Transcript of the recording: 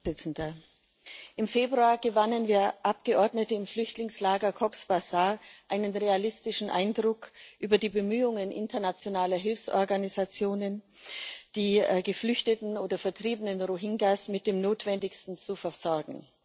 Herr Präsident! Im Februar gewannen wir Abgeordneten im Flüchtlingslager Cox's Bazar einen realistischen Eindruck von den Bemühungen internationaler Hilfsorganisationen, die geflüchteten oder vertriebenen Rohingya mit dem Notwendigsten zu versorgen.